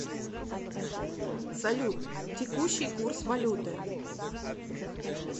салют текущий курс валюты